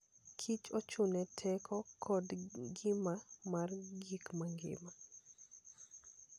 Kich ochung'ne teko koda ngima mar gik mangima.